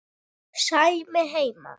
Sæmi heima!